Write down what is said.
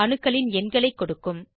அணுக்களின் எண்களை கொடுக்கும்